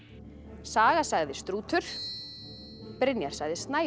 saga sagði strútur Brynjar sagði